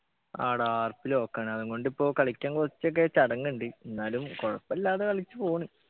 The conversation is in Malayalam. ആടാ RPlock ആണ് അതുംകൊണ്ടിപ്പോ കളിക്കാൻ കൊറച്ചൊക്കെ ചടങ്ങുണ്ട് ന്നാലും കൊഴപ്പില്ലാതെ കളിച്ചു പോണ്